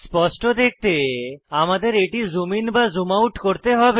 স্পষ্টরূপে দেখতে আমাদের এটি জুম ইন বা জুম আউট করতে হবে